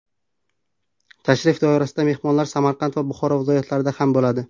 Tashrif doirasida mehmonlar Samarqand va Buxoro viloyatlarida ham bo‘ladi.